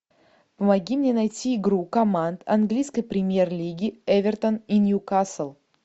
помоги мне найти игру команд английской премьер лиги эвертон и ньюкасл